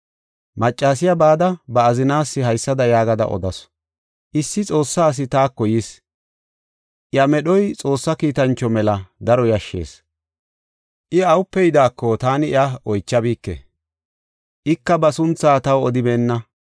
Maccasiya bada, ba azinaas haysada yaagada odasu; “Issi Xoossa asi taako yis; iya medhoy Xoossa kiitancho mela daro yashshees. I awupe yidaako taani iya oychabike; ika ba sunthaa taw odibeenna.